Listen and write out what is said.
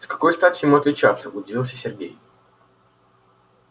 с какой стати ему отличаться удивился сергей